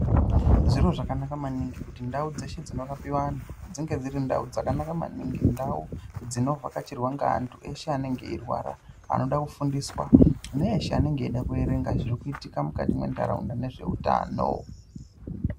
Zviro zvakanaka maningi kuti ndau dzeshe dzinorapirwa anhu dzinge dziri ndau dzakanaka maningi ndau dzinovhakachirwa ngeanhu eshe anenge eirwara vanoda kufundiswa neeshe anenge eida kuerenga zvirikuitika mukati menharaunda maererano nezveutano.